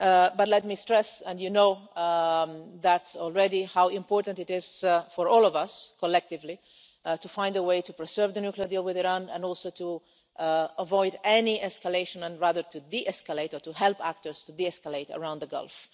But let me stress, and you know already how important it is for all of us, collectively, to find a way to preserve the nuclear deal with Iran and also to avoid any escalation, and rather to de escalate or to help actors to de escalate around the Gulf.